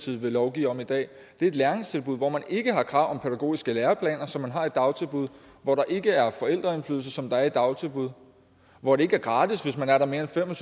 vil lovgive om i dag det er et læringstilbud hvor man ikke har krav om pædagogiske læreplaner som man har i dagtilbud hvor der ikke er forældreindflydelse som der er i dagtilbud hvor det ikke er gratis hvis man er der mere end fem og